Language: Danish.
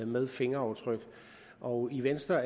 med fingeraftryk og i venstre